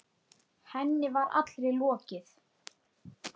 Henni var allri lokið.